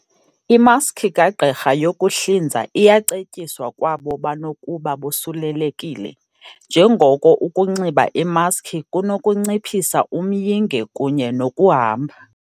Imaski kagqirha yokuhlinza iyacetyiswa kwabo banokuba bosulelekile, njengoko ukunxiba imaski kunokunciphisa umyinge kunye nokuhamba